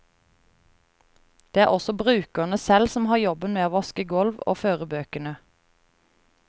Det er også brukerne selv som har jobben med å vaske gulv og føre bøkene.